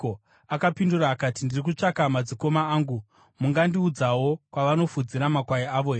Akapindura akati, “Ndiri kutsvaka madzikoma angu. Mungandiudzawo kwavanofudzira makwai avo here?”